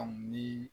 Ani